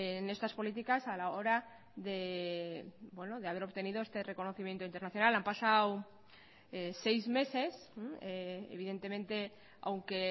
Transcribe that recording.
en estas políticas a la hora de haber obtenido este reconocimiento internacional han pasado seis meses evidentemente aunque